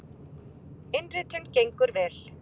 Innritun gengur vel.